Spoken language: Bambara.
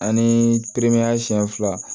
Ani siɲɛ fila